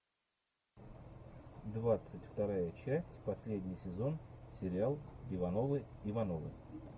двадцать вторая часть последний сезон сериал ивановы ивановы